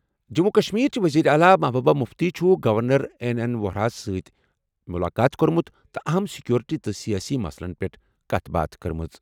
جموں کشمیرچہِ وزیر اعلیٰ محبوبہ مُفتی چھِ گورنر این این ووہرا ہَس سۭتۍ مِلاقات کوٚرمُت تہٕ اہم سیکورٹی تہٕ سیٲسی مسلن پٮ۪ٹھ کَتھ باتھ کرمژٕ۔